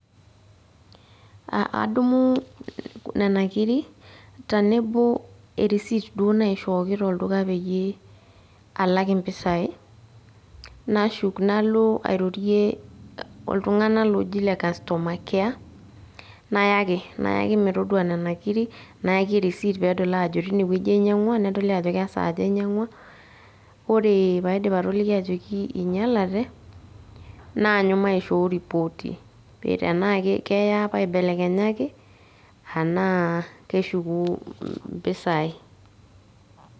Adumu nena kirik tenebo erisit duo naishooki tolduka peyie alak impisai. Nashuk nalo airorie oltung'anak loji le customer care, nayaki. Nayaki metodua nena kirik, nayaki risit pedol ajo tinewueji ainyang'ua, nedoli ajo kesaaja ainyang'ua, ore paidip atoliki ajoki inyalate, naanyu maishoo ripoti. Tenaa keya paibelekenyaki, anaa keshuku impisai.